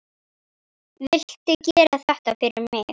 Viltu gera þetta fyrir mig!